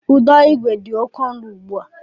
Ụdọigwe dị oké ọnụ ùgbú à